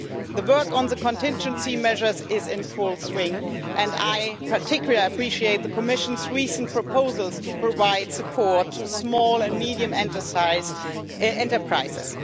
The work on contingency measures is in full swing and I particularly appreciate the Commission's recent proposals to provide support to small and medium sized enterprises.